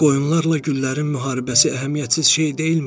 Qoyunlarla güllərin müharibəsi əhəmiyyətsiz şey deyilmi?